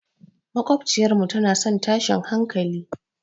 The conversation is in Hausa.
Maƙwabciyarmu tana son tashin hankali.